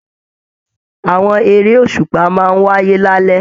Àwọn eré òṣùpá máa n wáyé lalẹ.